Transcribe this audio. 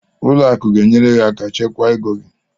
Ụlọ akụ ga-enyere gị aka chekwa ego gị.